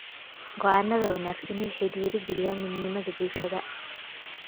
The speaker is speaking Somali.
Go’aannada wanaagsani waxay dhiirigeliyaan midnimada bulshada.